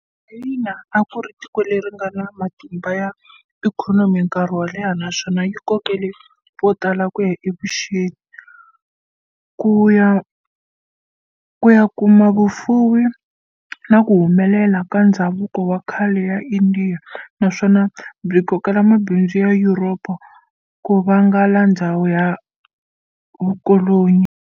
Chayina a ku ri tiko leringana matimba ya ikhonomi nkarhi wo leha naswona yi kokele votala ku ya evuxeni, ku ya kuma vufuwi na kuhumelela ka ndzhavuko wa khale ka Indiya, naswona byi kokela mabindzu ya Yuropa, kuvalanga ndzhawu na vukolonyi.